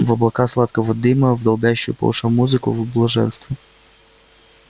в облака сладкого дыма в долбящую по ушам музыку в блаженство